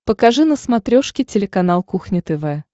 покажи на смотрешке телеканал кухня тв